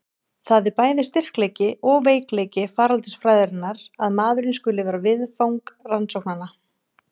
Það er bæði styrkleiki og veikleiki faraldsfræðinnar að maðurinn skuli vera viðfang rannsóknanna.